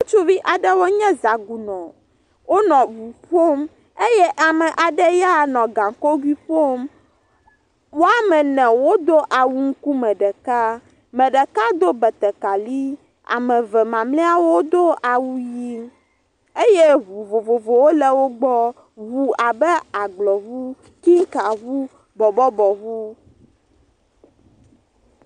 Ŋutsuvi aɖewo nye zagunɔ. Wonɔ ŋu ƒom eye ame aɖe ya nɔ gaŋkogui ƒom. Wɔme ene wodo awu ŋkum ɖeka. Ame ɖeka do betekali, ame eve mamleawo do awu ʋi eye ŋu vovovowo le wogbɔ. Ŋu abe agblɔ ŋu, kinka ŋu, bɔbɔbɔ ŋu.